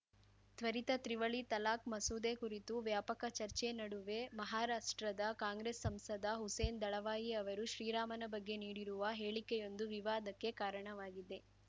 ತ್ವರಿತ ತ್ರಿವಳಿ ತಲಾಖ್‌ ಮಸೂದೆ ಕುರಿತು ವ್ಯಾಪಕ ಚರ್ಚೆ ನಡುವೆ ಮಹಾರಾಷ್ಟ್ರದ ಕಾಂಗ್ರೆಸ್‌ ಸಂಸದ ಹುಸೇನ್‌ ದಳವಾಯಿ ಅವರು ಶ್ರೀರಾಮನ ಬಗ್ಗೆ ನೀಡಿರುವ ಹೇಳಿಕೆಯೊಂದು ವಿವಾದಕ್ಕೆ ಕಾರಣವಾಗಿದೆ